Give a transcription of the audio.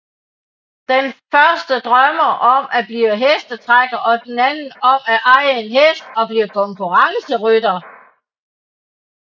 Den første drømmer om at blive hestetrækker og den anden om at eje en hest og blive konkurrencerytter